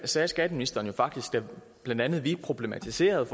sagde skatteministeren faktisk da blandt andet vi problematiserede